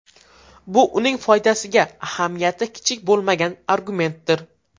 Bu uning foydasiga ahamiyati kichik bo‘lmagan argumentdir.